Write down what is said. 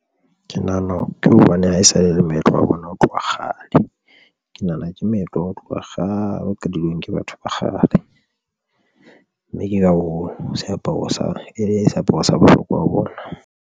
Ke nahana ke hobane ha e sale e le moetlo wa bona ho tloha kgale. Ke nahana ke moetlo wa ho tloha kgale qadilweng ke batho ba kgale mme ke ka seaparo sa e le seaparo sa bohlokwa ho bona.